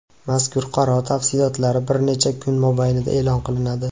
Mazkur qaror tafsilotlari bir necha kun mobaynida e’lon qilinadi.